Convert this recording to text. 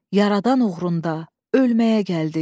Yaradan uğrunda ölməyə gəldik.